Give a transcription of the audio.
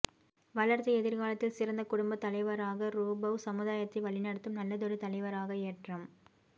வளர்த்து எதிர்காலத்தில் சிறந்த குடும்பத் தலைவராகரூபவ் சமுதாயத்தை வழிநடத்தும் நல்லதொரு தலைவராக ஏற்றம்